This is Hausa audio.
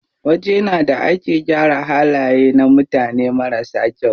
Wajena da ake gyara halaye na mutane marasa kyau.